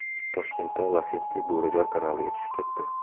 Toshkentda Lacetti Bo‘rijar kanaliga tushib ketdi.